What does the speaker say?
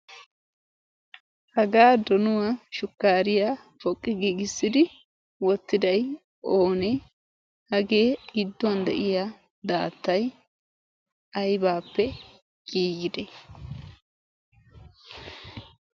hagaa donuwaa shukkaariya poqqi giigissidi wottidaiyoonee hagee gidduwan de'iya daattay aybaappe giiyide?